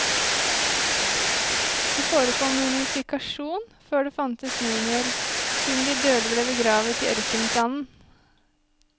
Det forekom mummifikasjon før det fantes mumier, siden de døde ble begravet i ørkensanden.